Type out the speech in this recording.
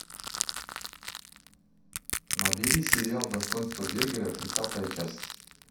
набери сериал достоинство бергера тридцатая часть